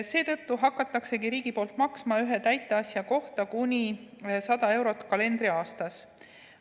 Seetõttu hakkabki riik maksma ühe täiteasja kohta kuni 100 eurot kalendriaastas.